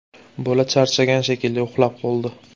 Bola charchagan shekilli, uxlab qoldi.